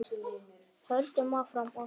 Höldum áfram á þeirri braut.